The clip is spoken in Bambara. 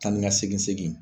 Taa ni ka segin segin